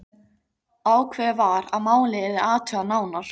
Ákveðið var að málið yrði athugað nánar.